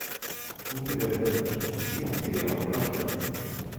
у тебя в загашнике есть сериал вражда